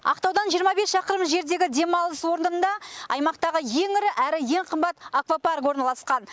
ақтаудан жиырма бес шақырым жердегі демалыс орнында аймақтағы ең ірі әрі ең қымбат аквапарк орналасқан